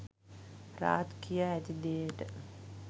රාජ් කියා ඇති දේට